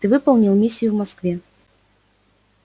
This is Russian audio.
ты выполнил миссию в москве